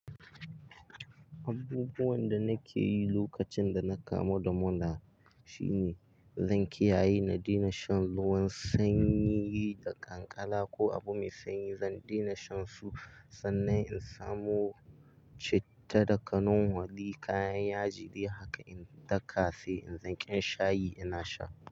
Abubuwan da nake yi lokacin da na kamo damona shine zan kiyaye na daina shan ruwan sanyi da kankala ko abu mai sanyi. Zan daina shan su sannan in samo citta da kanun wali, kayan yaji de haka in daka sai in zan ƙin shayi ina sha.